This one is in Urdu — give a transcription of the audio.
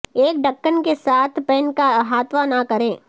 ایک ڑککن کے ساتھ پین کا احاطہ نہ کریں